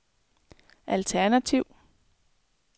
alternativ